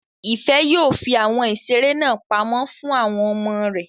Ìfẹ́ yóò fi àwọn ìseré náà pamọ́ fún àwọn ọmọ rẹ̀